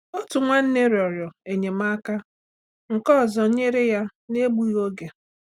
Otu nwanne rịọrọ enyemaka, nke ọzọ nyere ya n’egbughị oge.